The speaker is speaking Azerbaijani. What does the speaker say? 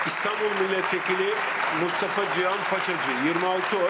İstanbul millət vəkili Mustafa Cihan Paçacı, 26 səs.